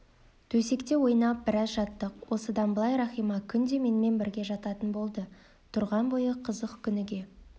төсекте ойнап біраз жаттық осыдан былай рахима күнде менімен бірге жататын болды тұрған бойы қызық күніге